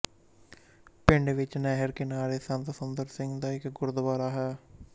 ਪਿੰਡ ਵਿੱਚ ਨਹਿਰ ਕਿਨਾਰੇ ਸੰਤ ਸੁੰਦਰ ਸਿੰਘ ਦਾ ਇੱੱਕ ਗੁਰਦੁਆਰਾ ਹੈ